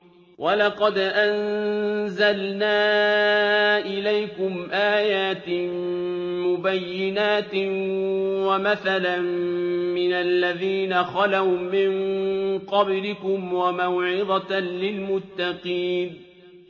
وَلَقَدْ أَنزَلْنَا إِلَيْكُمْ آيَاتٍ مُّبَيِّنَاتٍ وَمَثَلًا مِّنَ الَّذِينَ خَلَوْا مِن قَبْلِكُمْ وَمَوْعِظَةً لِّلْمُتَّقِينَ